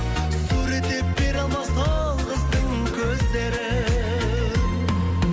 суреттеп бере алмас ол қыздың көздерін